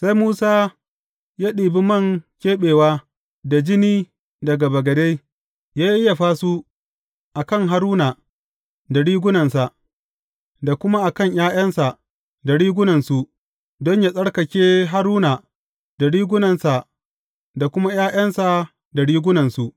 Sai Musa ya ɗibi man keɓewa da jini daga bagade, ya yayyafa su a kan Haruna da rigunansa, da kuma a kan ’ya’yansa da rigunansu, don yă tsarkake Haruna da rigunansa da kuma ’ya’yansa da rigunansu.